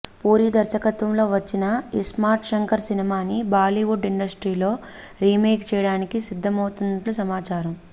పూరి దర్శకత్వంలో వచ్చిన ఇస్మార్ట్ శంకర్ సినిమాని బాలీవుడ్ ఇండస్ట్రీలో రీమేక్ చేయడానికి సిద్దమవుతున్నట్లు సమాచారం